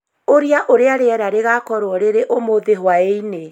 Ũria ũrĩa rĩera rĩgaakorũo rĩrĩ ũmũthĩ hwaĩ-inĩ